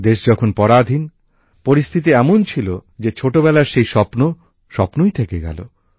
দেশ তখন পরাধীন পরিস্থিতি এমন ছিল যে ছোটবেলার সেই স্বপ্ন স্বপ্নই থেকে গেলো